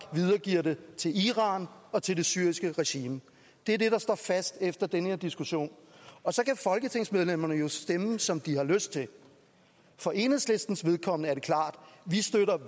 videregiver det til iran og til det syriske regime det er det der står fast efter den her diskussion og så kan folketingsmedlemmerne jo stemme som de har lyst til for enhedslistens vedkommende er at vi